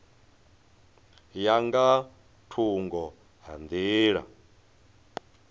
ya nga thungo ha nḓila